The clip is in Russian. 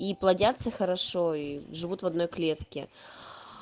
и плодятся хорошо и живут в одной клетке